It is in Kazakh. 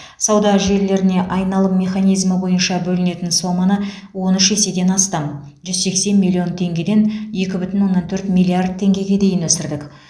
сауда желілеріне айналым механизмі бойынша бөлінетін соманы он үш еседен астам жүз сексен миллион теңгеден екі бүтін оннан төрт миллиард теңгеге дейін өсірдік